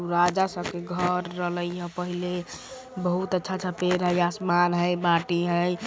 राजा सब के घर रल्या पहेले बहुत अच्छा अच्छा पेड़ हई आसमान हई मिट्टी हई।